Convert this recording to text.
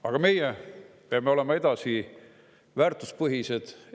Aga meie peame olema edasi väärtuspõhised.